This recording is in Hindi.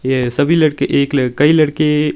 ये सभी लड़के एक लड़के कई लड़के--